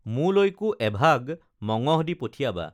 মোলৈকো এভাগ মঙহ দি পঠিয়াবা